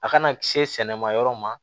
A kana se sɛnɛ ma yɔrɔ ma